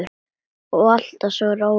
Og alltaf svo róleg.